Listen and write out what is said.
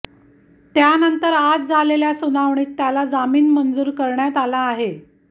त्यानंतर आज झालेल्या सुनावणीत त्याला जामीन मंजूर करण्यात आला आहे